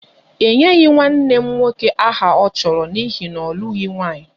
E nyeghị nwanne m nwoke aha ọ chọrọ n'ihi na ọ lụghị nwunye